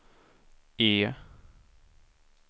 E